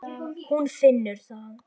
Hún finnur það.